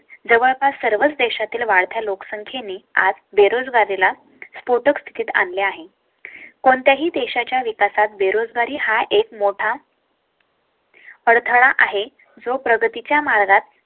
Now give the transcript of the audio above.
जवळपास सर्वच देशातील वाढत्या लोकसंख्ये ने आज बेरोजगार लेला Sports तिकीट आणली आहे. कोणत्याही देशाच्या विकासात बेरोजगारी हा एक मोठा. अडथळा आहे जो प्रगती च्या मार्गात